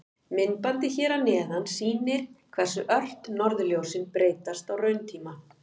Myndbandið hér að neðan sýnir hversu ört norðurljósin breytast á rauntíma.